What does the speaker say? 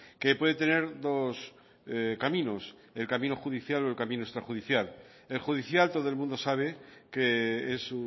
que puede tener dos caminos el camino judicial o el camino extrajudicial el judicial todo el mundo sabe que es